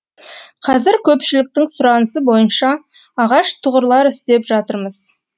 қазір көпшіліктің сұранысы бойынша ағаш тұғырлар істеп жатырмыз